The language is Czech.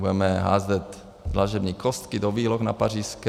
Budeme házet dlažební kostky do výloh na Pařížské?